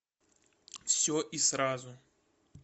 все и сразу